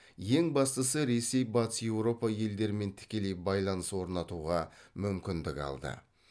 ең бастысы ресей батыс еуропа елдерімен тікелей байланыс орнатуға мүмкіндік алды